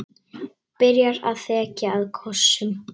Byrjar að þekja það kossum.